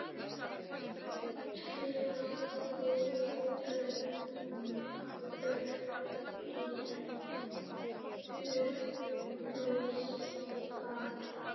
tröðin upp í hugann.